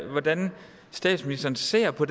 hvordan statsministeren ser på